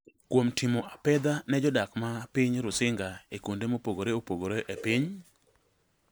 kuom “timo apedha” ne jodak mag piny Rusinga e kuonde mopogore opogore e piny.